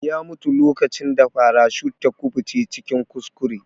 Ya mutu lokacin da farashut ta kubuce cikin kuskure.